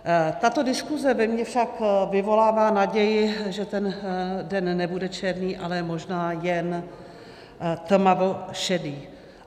Tato diskuze ve mně však vyvolává naději, že ten den nebude černý, ale možná jen tmavě šedý.